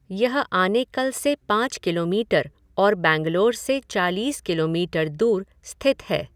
यह आनेकल से पाँच किलोमीटर और बैंगलोर से चालीस किलोमीटर दूर स्थित है।